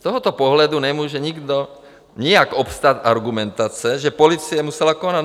Z tohoto pohledu nemůže nikdo, nijak obstát argumentace, že policie musela konat.